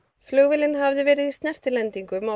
flugvélin hafði verið í snertilendingum á